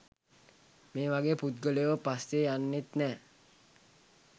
මේ වගේ පුද්ගලයො පස්සෙ යන්නෙත් නෑ